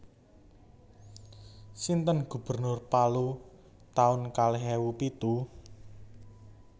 Sinten gubernur Palu taun kalih ewu pitu?